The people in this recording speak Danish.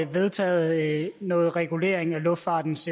vedtaget noget regulering af luftfartens